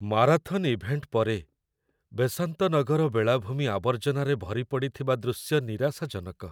Marathon event ପରେ, ବେସାନ୍ତ ନଗର ବେଳାଭୂମି ଆବର୍ଜନାରେ ଭରିପଡ଼ିଥିବା ଦୃଶ୍ୟ ନିରାଶାଜନକ।